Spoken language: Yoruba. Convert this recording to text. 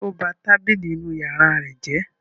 Bẹ́ẹ̀ni, ó ba tábìlì inú ìyàrá rẹ̀ jẹ́.